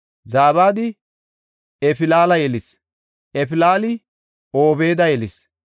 Zabadi Eflaala yelis; Eflaali Obeeda yelis;